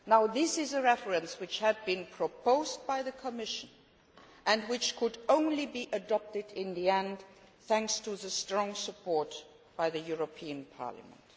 This is a reference which was proposed by the Commission and which could only be adopted in the end thanks to strong support by the European Parliament.